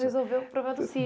resolveu o problema do sítio.